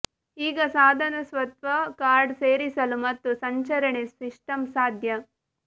ಈಗ ಸಾಧನ ಸ್ವತಃ ಕಾರ್ಡ್ ಸೇರಿಸಲು ಮತ್ತು ಸಂಚರಣೆ ಸಿಸ್ಟಂ ಸಾಧ್ಯ